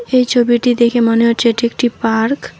এই ছবিটি দেখে মনে হচ্ছে এটি একটি পার্ক ।